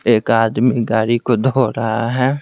एक आदमी गाड़ी को धो रहा है।